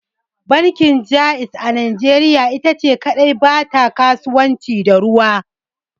Bankin Jaiz a najeriya ita ce kadai ba ta kasuwanci da ruwa.